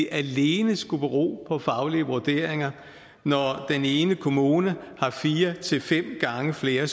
alene skulle bero på faglige vurderinger når den ene kommune har fire til fem gange flere